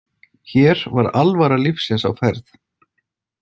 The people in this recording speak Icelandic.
Hér var alvara lífsins á ferð.